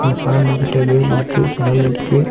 இந்த சாமி கிட்ட வேல் இருக்கு சாமி இருக்கு.